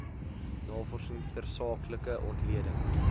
navorsing tersaaklike ontleding